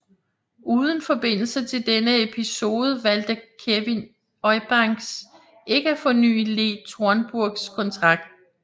Uden forbindelse til denne episode valgte Kevin Eubanks ikke at forny Lee Thornburgs kontrakt